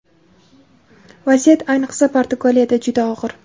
vaziyat ayniqsa Portugaliyada juda og‘ir.